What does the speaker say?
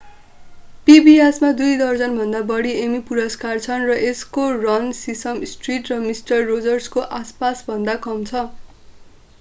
pbs मा दुई दर्जनभन्दा बढी एमी पुरस्कार छन् र यसको रन सिसम स्ट्रीट र मिस्टर रोजर्सको आसपासभन्दा कम छ